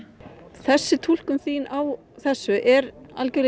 þessi túlkun þín á þessu er algjörlega í